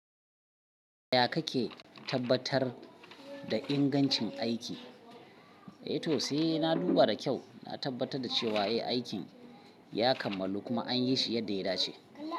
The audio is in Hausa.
Ya kake tabbatar da ingancin aiki? Eh to sai na duba da kyau, na tabbatar da cewa eh, aikin ya kammalu kuma an yi shi yadda ya dace.